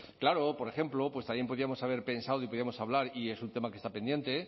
claro por ejemplo pues también podíamos haber pensado y podíamos hablar y es un tema que está pendiente